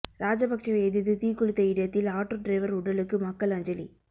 ராஜபக்சேவை எதிர்த்து தீக்குளித்த இடத்தில் ஆட்டோ டிரைவர் உடலுக்கு மக்கள் அஞ்சலி